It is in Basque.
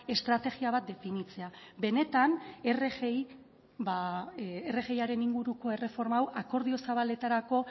estrategia bat definitzea benetan rgiaren inguruko erreforma hau akordio zabaletarako